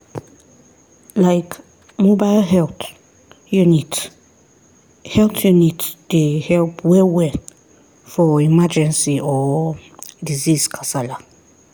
like mobile health unit health unit dey help well-well for emergency or disease kasala.